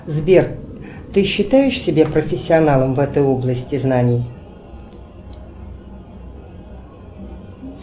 сбер ты считаешь себя профессионалом в этой области знаний